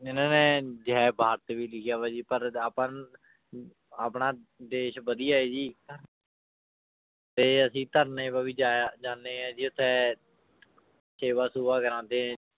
ਇਹਨਾਂ ਨੇ ਜੈ ਭਾਰਤ ਵੀ ਲਿਖਿਆ ਵਾ ਜੀ ਪਰ ਆਪਾਂ ਨੂੰ ਅਮ ਆਪਣਾ ਦੇਸ ਵਧੀਆ ਹੈ ਜੀ ਤੇ ਅਸੀਂ ਧਰਨੇ ਜਾਇਆ ਜਾਂਦੇ ਹਾਂ ਜੀ ਉੱਥੇ ਸੇਵਾ ਸੂਵਾ ਕਰਵਾਉਂਦੇ ਹੈਂ